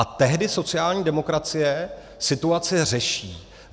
A tehdy sociální demokracie situaci řeší.